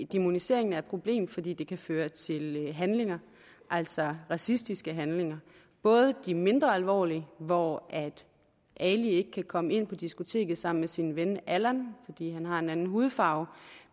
dæmonisering er et problem fordi det kan føre til handlinger altså racistiske handlinger både de mindre alvorlige hvor ali ikke kan komme ind på diskoteket sammen med sin ven allan fordi han har en anden hudfarve